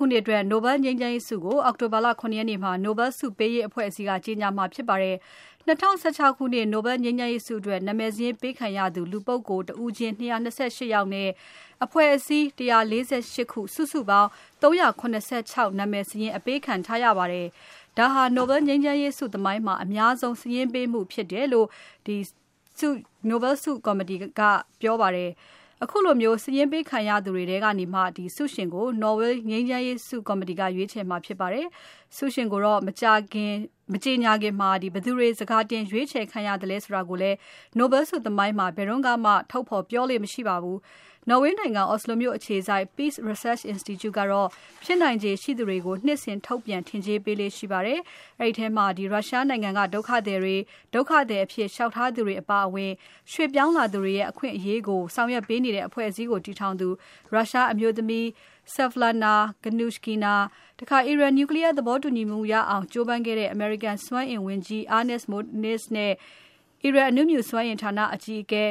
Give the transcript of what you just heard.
ုနှစ်အတွက် Nobel ငြိမ်းချမ်းရေးဆုကို အောက်တိုဘာလ ၇ ရက်နေ့မှာ Nobel ဆုပေးရေးအဖွဲ့အစည်းက ကြေညာမှာဖြစ်ပါတယ်။ ၂၀၁၆ ခုနှစ် Nobel ငြိမ်းချမ်းရေးဆုအတွက် နာမည်စာရင်းပေးခံရသူ လူပုဂ္ဂိုလ်တဦးချင်း ၂၂၈ ယောက်နဲ့ အဖွဲ့အစည်း ၁၄၈ ခု၊ စုစုပေါင်း ၃၇၆ နာမည်စာရင်း ပေးခံရပါတယ်။ ဒါဟာ Nobel ငြိမ်းချမ်းရေးဆုသမိုင်းမှာ အများဆုံး စာရင်းပေးမှုဖြစ်တယ်လို့ Nobel ဆုပေးရေးအဖွဲ့ကပြောပါတယ်။ ခုလို စာရင်းပေးခံရသူတွေထဲကနေမှ ဆုရှင်ကို နော်ဝေး Nobel ဆုကော်မတီက ရွေးချယ်မှာဖြစ်ပါတယ်။ ဆုရှင်ကို မကြေညာခင် ဘယ်သူတွေ စကာတင် ရွေးချယ်ခံရသလဲ ဆိုတာကိုလည်း Nobel ဆုသမိုင်းမှာ ဘယ်တုန်းကမှ ထုတ်ဖော်ပြောလေ့ မရှိပါဘူး။ နော်ဝေးနိုင်ငံ Oslo မြို့အခြေစိုက် Peace Research Institute ကတော့ ဖြစ်နိုင်ခြေရှိသူတွေကို နှစ်စဉ် ထုတ်ပြန်ထင်ကြေးပေးလေ့ရှိပါတယ်။ အဲဒီထဲမှာ Russia နိုင်ငံက ဒုက္ခသည်တွေ ဒုက္ခသည်အဖြစ်လျှောက်ထားသူတွေအပါအဝင် ရွှေ့ပြောင်းလာသူတွေရဲ့ အခွင့်အရေးကို ဆောင်ရွက်ပေးနေတဲ့ အဖွဲ့အစည်းကိုတည်ထောင်သူ Russia အမျိုးသမီး Svetlana Gannushkina၊ အီရန် Nuclear သဘောတူညီမှုရအောင် ကြိုးပမ်းခဲ့ကြတဲ့ အမေရိကန်စွမ်းအင်ဝန်ကြီး Ernest Moniz နဲ့ အီရန်အနုမြူစွမ်းအင်ဌာန အကြီးအကဲ